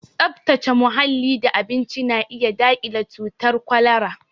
Tsaftace muhalli da abinci na iya daƙile cutar kwalara